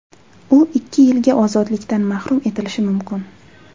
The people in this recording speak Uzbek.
U ikki yilga ozodlikdan mahrum etilishi mumkin.